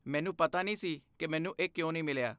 ਮੈਨੂ ਪਤਾ ਨਹੀਂ ਸੀ ਕਿ ਮੈਨੂੰ ਇਹ ਕਿਉਂ ਨਹੀਂ ਮਿਲਿਆ।